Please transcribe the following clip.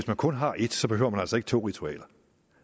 man kun har et så behøver man altså ikke to ritualer